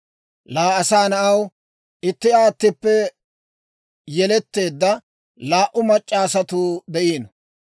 «Laa asaa na'aw, itti aattippe yeletteedda laa"u mac'c'a asatuu de'iino.